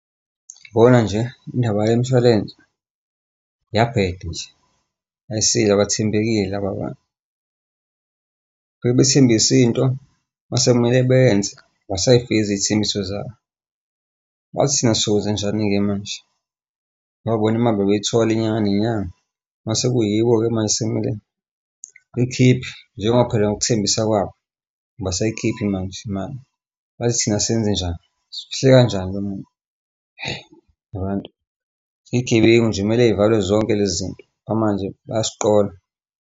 Yabona nje indaba yemishwalense iyabheda nje aysile abathembekile laba bantu. Befike bethembise into mase kumele bayenze abasay'fezi iy'thembiso zabo. Manje thina sokwenzenjani-ke manje? Ngoba bona bayayithola inyanga nenyanga mase kuyibo-ke manje esekumele likhiphe njengoba phela ngokuthembisa kwabo, abasayikhiphi manje imali manje thina senzenjani? Sifihle kanjani umuntu? Abantu. Iy'gebengu nje, kumele y'valwe zonke lezi zinto ngoba manje bayasiqola.